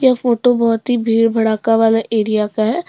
यह फोटो बहुत ही भीड़ भड़का वाला एरिया का है।